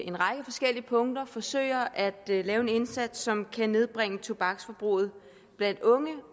en række forskellige punkter forsøger at lave en indsats som kan nedbringe tobaksforbruget blandt unge